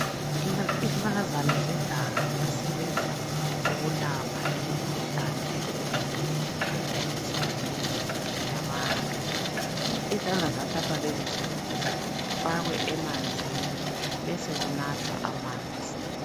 Izihlahlakazana zeganga ziyasebenza ukulapha imikhuhlane ehlukeneyo emizimbeni yabantu. Izihlahla lezi ziyathathwa zifakwe emanzini besokunathwa amanzi.